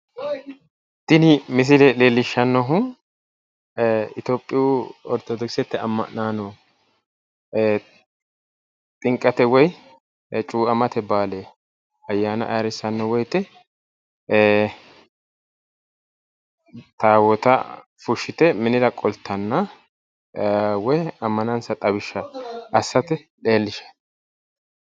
Tini misile leellishannohu itiyopiyu ortodokisete amma'naano xinqete woyi cuu'amate baale ayyaana ayirrissanno woyite taawoota fushite minira qoltanna woyi ammanansa xawisha assate leellishanno